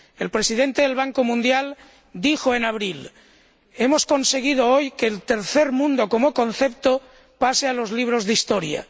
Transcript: El Presidente del Banco Mundial dijo en abril Hemos conseguido hoy que el tercer mundo como concepto pase a los libros de historia.